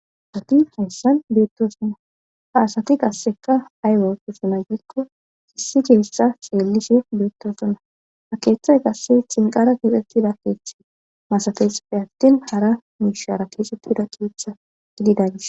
asati hayssan beettosonnaaasati qasseka ayweotosona giikko sissi keessa xeellishe beettosona haqeeththay qasse cinqara keexettida keeththe masafeexeppe attin hara muishara keesettida keetha gididan